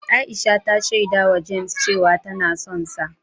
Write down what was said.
Aisha ta shaidawa James cewa tana sonsa.